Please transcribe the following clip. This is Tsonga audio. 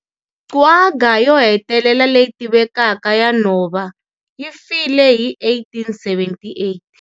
Quagga yo hetelela leyi tivekaka ya nhova yi file hi 1878.